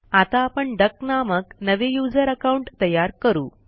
आता आपण डक नामक नवे युजर अकाउंट तयार करू